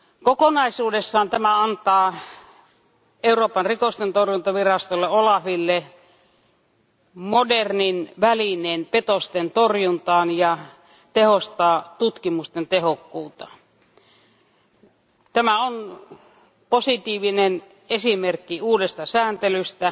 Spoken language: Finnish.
Kokonaisuudessaan tämä antaa Euroopan petostentorjuntavirastolle OLAFille modernin välineen petostentorjuntaan ja tehostaa tutkimusten tehokkuutta. Tämä on positiivinen esimerkki uudesta sääntelystä,